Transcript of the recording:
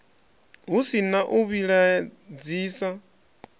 hu si na u vhilaedzisa